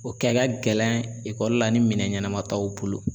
O kɛ ka gɛlɛn ekɔli la ni minɛn ɲɛnama t'aw bolo